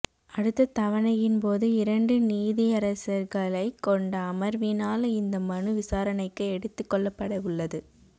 அடுத்த தவணையின் போது இரண்டு நீதியரசர்களைக் கொண்ட அமர்வினால் இந்த மனு விசாரணைக்கு எடுத்துக் கொள்ளப்படவுள்ளது